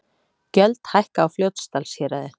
Gjöld hækka á Fljótsdalshéraði